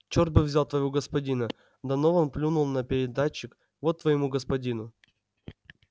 черт бы взял твоего господина донован плюнул на передатчик вот твоему господину